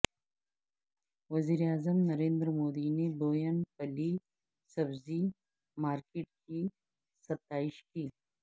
وزیر اعظم نریندر مودی نے بوئن پلی سبزی مارکٹ کی ستائش کی